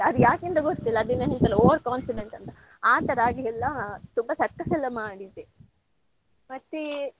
ಅದ್ ಯಾಕೆ ಅಂತ ಗೊತ್ತಿಲ್ಲ ಅದೇನೋ ಹೇಳ್ತಾರಲ್ಲ overconfidence ಅಂತ ಆ ತರ ಆಗಿ ಎಲ್ಲಾ ತುಂಬಾ circus ಎಲ್ಲ ಮಾಡಿದ್ದೆ ಮತ್ತೇ.